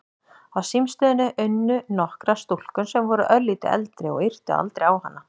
Á símstöðinni unnu nokkrar stúlkur sem voru örlítið eldri og yrtu aldrei á hana.